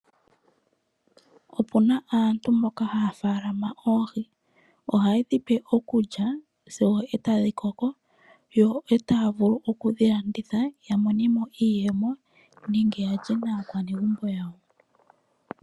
Opu na aantu mboka haya munu oohi ohaye dhi pe okulya sigo e tadhi koko yo e taya vulu okudhi landitha ya monemo iiyemo nenge ya lye naakwanegumbo yawo.